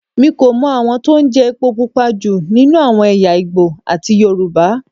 Mi kò mọ àwọn tó ń jẹ epo Pupa jù nínú àwọn ẹ̀yà Ìgbò àti Yorùbá.